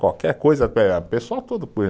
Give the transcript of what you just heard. Qualquer coisa, pessoal tudo